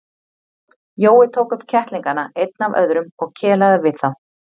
Jói tók upp kettlingana einn af öðrum og kelaði við þá.